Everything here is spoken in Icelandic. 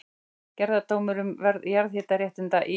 Gerðardómur um verð jarðhitaréttinda í